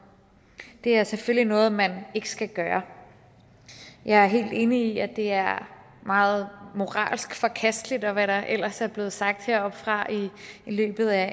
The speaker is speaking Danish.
det er selvfølgelig noget man ikke skal gøre jeg er helt enig i at det er meget moralsk forkasteligt og hvad der ellers er blevet sagt heroppefra i løbet af